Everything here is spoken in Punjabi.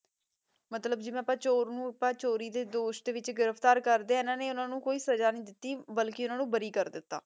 ਮਤਲਬ ਜਿਵੇਂ ਆਪਾਂ ਚੋਰ ਨੂ ਚੋਰੀ ਦੇ ਦੋਸ਼ ਦੇ ਵਿਚ ਗਿਰਫਤਾਰ ਕਰਦੇ ਆਂ ਇੰਨਾਂ ਨੇ ਓਨੁ ਕੋਈ ਸਜ਼ਾ ਨਹੀ ਦਿਤੀ ਬਾਲਕੀ ਇਨਾਂ ਨੂ ਬਾਰੀ ਕਰ ਦਿਤਾ ਠੀਕ ਆਯ